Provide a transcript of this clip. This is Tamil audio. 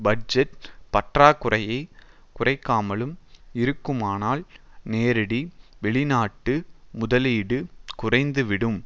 பட்ஜெட் பற்றாக்குறையை குறைக்காமலும் இருக்குமானால்நேரடி வெளிநாட்டு முதலீடு குறைந்துவிடும்